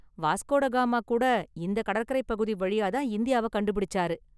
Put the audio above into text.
Vasco da Gama கூட இந்த கடற்கரைப் பகுதி வழியா தான் இந்தியாவை கண்டுபிடிச்சாரு.